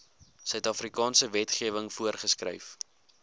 suidafrikaanse wetgewing voorgeskryf